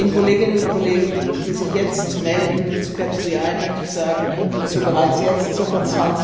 Den Kolleginnen und Kollegen, die sich jetzt zu melden möchte ich sagen, dass wir bereits jetzt ca.